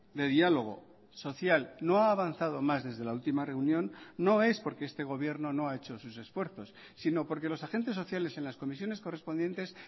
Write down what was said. de diálogo social no ha avanzado más desde la última reunión no es porque este gobierno no ha hecho sus esfuerzos sino porque los agentes sociales en las comisiones correspondientes